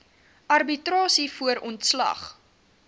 arbitrasie voor ontslag